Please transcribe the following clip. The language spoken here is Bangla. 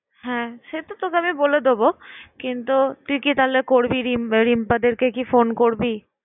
হ্যাঁ সে তো তোকে আমি বলে দেব কিন্তু তুই কি তাহলে করবি রিম্পাদেরকে কি phone করবি?